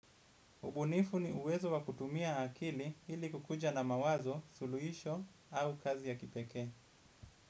Ubunifu ni uwezo wa kutumia akili ili kukuja na mawazo, suluisho au kazi ya kipeke.